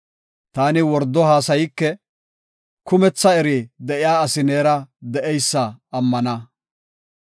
Taani wordo haasayike; kumetha eri de7iya asi neera de7eysa ammana.